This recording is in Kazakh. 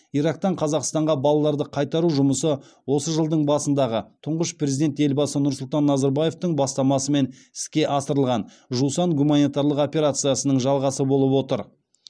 ирактан қазақстанға балаларды қайтару жұмысы осы жылдың басындағы тұңғыш президент елбасы нұрсұлтан назарбаевтың бастамасымен іске асырылған жусан гуманитарлық операциясының жалғасы болып отыр